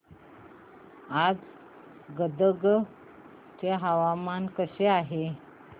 आज गदग चे हवामान कसे आहे